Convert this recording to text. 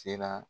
Sera